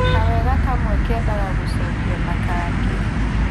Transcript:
Kawega kamwe kendaga gũcokio na kangĩ